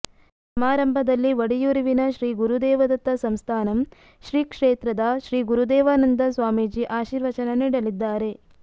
ಸಮಾರಂಭದಲ್ಲಿ ಒಡಿಯೂರುವಿನ ಶ್ರೀ ಗುರುದೇವದತ್ತ ಸಂಸ್ಥಾನಮ್ ಶ್ರೀ ಕ್ಷೇತ್ರದ ಶ್ರೀ ಗುರುದೇವಾನಂದ ಸ್ವಾಮೀಜಿ ಆಶೀರ್ವಚನ ನೀಡಲಿದ್ದಾರೆ